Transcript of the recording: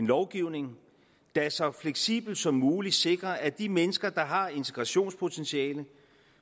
lovgivning der så fleksibelt som muligt sikrer at de mennesker der har integrationspotentiale